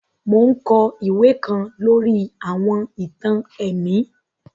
Mo n kọ iwe kan lori àwọn ìtàn ẹ̀mí